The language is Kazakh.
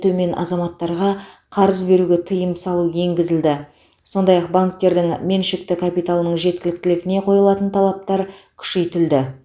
төмен күнкөріс деңгейінен төмен азаматтарға қарыз беруге тыйым салу енгізілді сондай ақ банктердің меншікті капиталының жеткіліктілігіне қойылатын талаптар күшейтілді